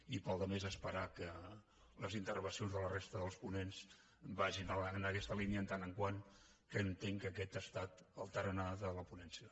i per la resta només esperar que les intervencions de la resta dels ponents vagin en aquesta línia en tant que entenc que aquest ha estat el tarannà de la ponència